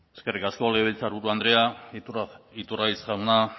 eskerrik asko legebiltzarburu andrea iturgaiz jauna